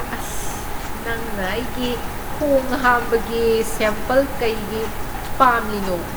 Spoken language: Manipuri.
ꯑꯁ꯫ ꯅꯪꯅ ꯑꯩꯒꯤ ꯈꯣꯡ ꯍꯥꯝꯕꯒꯤ ꯁꯦꯝꯄꯜ ꯀꯩꯒꯤ ꯄꯥꯝꯂꯤꯅꯣ?